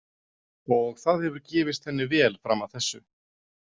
Og það hefur gefist henni vel fram að þessu.